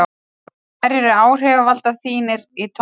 hverjir eru áhrifavaldar þínir í tónlist?